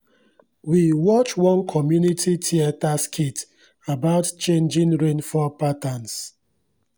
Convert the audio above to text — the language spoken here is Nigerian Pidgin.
we watch one community theatre skit about changing rainfall patterns.